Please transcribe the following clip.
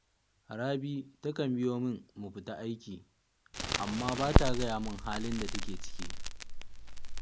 Rabi takan biyo min mu tafi aiki, amma ba ta gaya min halin da take ciki